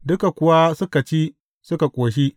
Duka kuwa suka ci suka ƙoshi.